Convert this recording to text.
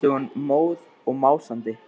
Júlía hvæsti hún móð og másandi.